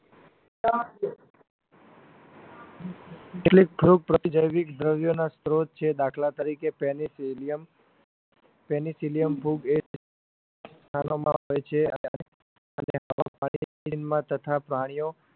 કેટલીક ફૂગ પ્રતિજૈવિક દ્રવ્યોનો સ્ત્રોત છે દાખલા તરીકે penicillium penicillium ફૂગ એજ હોય છે તથા પ્રાણીઓ